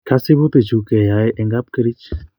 Kasibutik chu keyoi en kapkerich